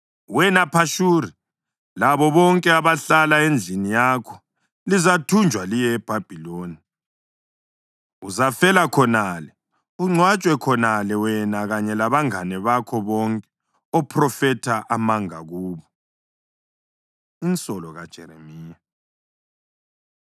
Wena Phashuri, labo bonke abahlala endlini yakho lizathunjwa liye eBhabhiloni. Uzafela khonale, ungcwatshwe khonale, wena kanye labangane bakho bonke ophrofetha amanga kubo.’ ” Insolo KaJeremiya